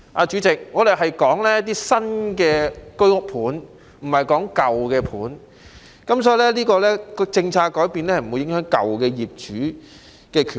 主席，我們所說的是新的居屋單位，不是舊的單位，所以這些政策改變並不會影響舊業主的權益。